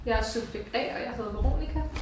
Jeg subjekt A og jeg hedder Veronica